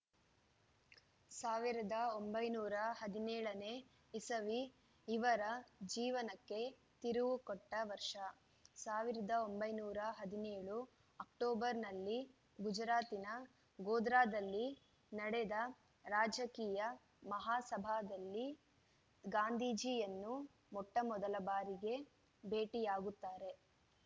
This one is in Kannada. ಸಾವಿರದ ಒಂಬೈನೂರ ಹದಿನೇಳನೇ ಇಸವಿ ಇವರ ಜೀವನಕ್ಕೆ ತಿರುವು ಕೊಟ್ಟವರ್ಷ ಸಾವಿರದ ಒಂಬೈನೂರ ಹದಿನೇಳು ಅಕ್ಟೋಬರ್‌ನಲ್ಲಿ ಗುಜರಾತಿನ ಗೋಧ್ರಾದಲ್ಲಿ ನಡೆದ ರಾಜಕೀಯ ಮಹಾಸಭಾದಲ್ಲಿ ಗಾಂಧೀಜಿಯನ್ನು ಮೊಟ್ಟಮೊದಲ ಭಾರಿಗೆ ಭೇಟಿಯಾಗುತ್ತಾರೆ